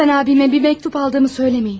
Lütfən abimə bir məktub aldığımı söyləməyin.